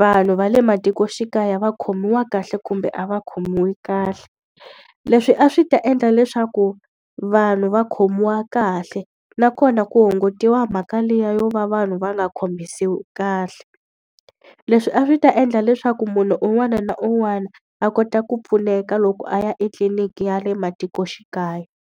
vanhu va le matikoxikaya va khomiwa kahle kumbe a va khomiwi kahle. Leswi a swi ta endla leswaku vanhu va khomiwa kahle, nakona ku hungutiwa mhaka liya yo va vanhu va nga khomisiwi kahle. Leswi a swi ta endla leswaku munhu un'wana na un'wana, a kota ku pfuneka loko a ya etliliniki ya le matikoxikaya.